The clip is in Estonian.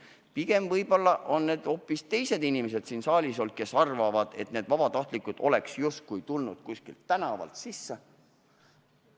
Pigem hoopis teised inimesed siin saalis arvavad, et vabatahtlikud on justkui kuskilt tänavalt sisse tulnud.